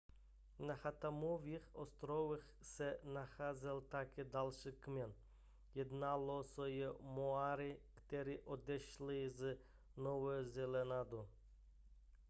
na chathamových ostrovech se nacházel také další kmen jednalo se o maory kteří odešli z nového zélandu